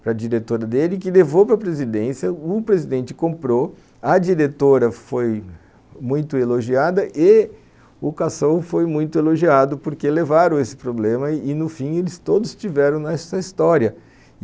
para a diretora dele, que levou para a presidência, o presidente comprou, a diretora foi muito elogiada, ê o cação foi muito elogiado, porque levaram esse problema e no fim eles todos tiveram nessa história.